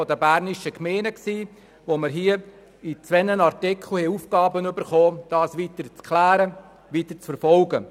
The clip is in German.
In den Artikeln 10 und 36 mussten wir das Anliegen der Berner Gemeinden weiter klären und verfolgen.